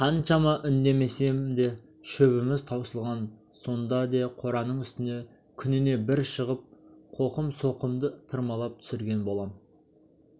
қаншама үнемдесем де шөбіміз таусылған сонда де қораның үстіне күніне бір шығып қоқым-соқымды тырмалап түсірген болам